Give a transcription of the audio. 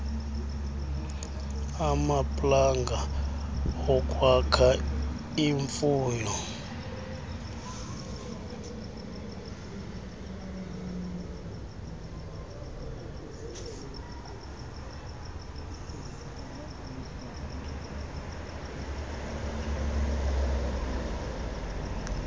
amaplanga okwakha imfuyo